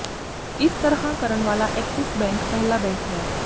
ਇਸ ਤਰ੍ਹਾਂ ਕਰਨ ਵਾਲਾ ਐਕਸਿਸ ਬੈਂਕ ਪਹਿਲਾ ਬੈਂਕ ਹੈ